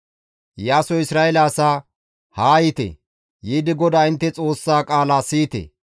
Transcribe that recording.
Iyaasoy Isra7eele asaa, «Haa yiite; yiidi GODAA intte Xoossaa qaala siyite.